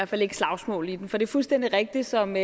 fald ikke slagsmål i dem for det er fuldstændig rigtigt som